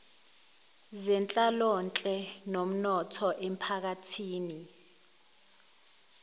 zenhlalonhle nomnotho emiphakathini